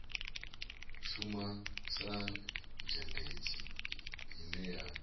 shuma sa zhendedzi ine a